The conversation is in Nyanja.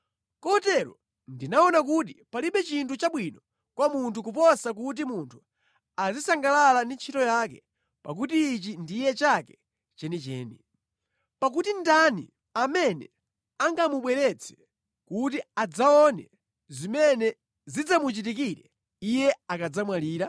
Kotero ndinaona kuti palibe chinthu chabwino kwa munthu kuposa kuti munthu azisangalala ndi ntchito yake, pakuti ichi ndiye chake chenicheni. Pakuti ndani amene angamubweretse kuti adzaone zimene zidzamuchitikira iye akadzamwalira?